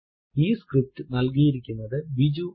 ഈ സ്ക്രിപ്റ്റ് നൽകിയിരിക്കുന്നത് ബിജു ആണ്